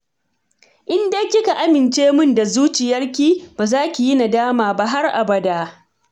In dai kika amince min da zuciyarki, ba za ki yi nadama ba har abada